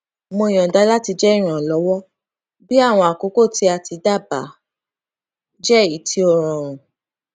mo yọnda láti jẹ ìrànwó bí àwọn àkókò tí a ti dá bá jẹ èyí tí ó rọrùn